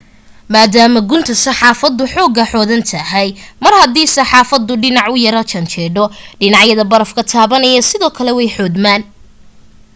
maadaama gunta safeexaddu xoogaa xoodan tahay mar hadii safeexaddu dhinac u yara janjeedho dhinacyada barafka taabanaya sidoo kale way xoodmaan